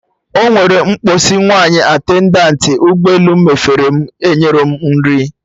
Ọnwere mgbọsị nwaanyị attendant ụgbọ elu mafere m, onyerọ m nri